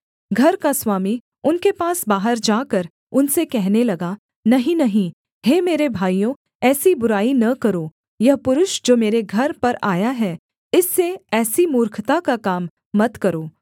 घर का स्वामी उनके पास बाहर जाकर उनसे कहने लगा नहीं नहीं हे मेरे भाइयों ऐसी बुराई न करो यह पुरुष जो मेरे घर पर आया है इससे ऐसी मूर्खता का काम मत करो